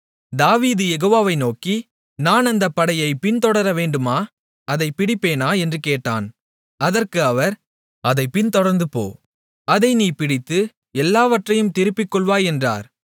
தாவீது யெகோவாவை நோக்கி நான் அந்தப் படையைப் பின்தொடரவேண்டுமா அதைப் பிடிப்பேனா என்று கேட்டான் அதற்கு அவர் அதைப் பின்தொடர்ந்து போ அதை நீ பிடித்து எல்லாவற்றையும் திருப்பிக்கொள்வாய் என்றார்